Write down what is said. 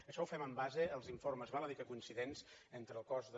això ho fem en base als informes val a dir que coincidents entre el cos de